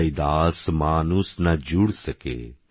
রৈদাসমনুষনাজুড়সকে